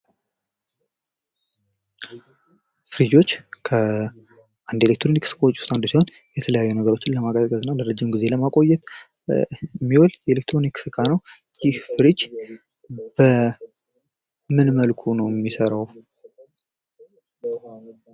ፍሪጆች ከኤሌክትሮኒክስ እቃዎች ውስጥ አንዱ ሲሆን የተለያዩ ነገሮችን ለማቀዝቀዝ እና ለረጅም ጊዜ ለማቆየት የሚውል የኤለክትሮኒክ እቃ ነው። ይህ ፍሪጅ በምን መልኩ ነው የሚሰራው?